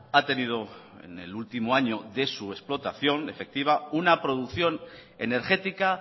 ha tenido en el último año de su explotación efectiva una producción energética